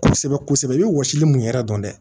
Kosɛbɛ kosɛbɛ i bɛ wɔsili mun yɛrɛ dɔn dɛ